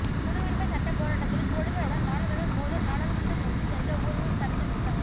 குடியுரிமை சட்ட போராட்டத்தில் போலீசாருடன் மாணவர்கள் மோதல் நாடாளுமன்றம் நோக்கி சென்ற ஊர்வலம் தடுத்து நிறுத்தம்